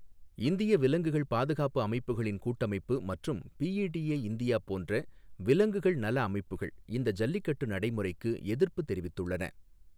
இந்திய விலங்குகள் பாதுகாப்பு அமைப்புகளின் கூட்டமைப்பு மற்றும் பிஇடிஏ இந்தியா போன்ற விலங்குகள் நல அமைப்புகள் இந்த ஜல்லிக்கட்டு நடைமுறைக்கு எதிர்ப்பு தெரிவித்துள்ளன.